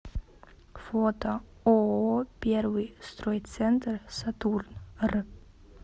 фото ооо первый стройцентр сатурн р